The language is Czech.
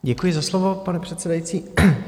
Děkuji za slovo, pane předsedající.